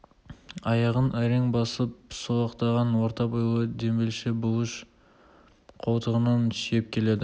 аяғын әрең басып солықтаған орта бойлы дембелше бұлыш қолтығынан сүйеп келеді